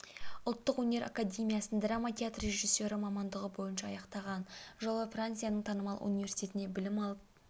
ұлттық өнер академиясын драма театр режиссері мамандығы бойынша аяқтаған жылы францияның танымал университетінде білім алып